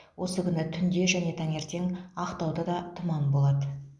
осы күні түнде және таңертең ақтаудада тұман болады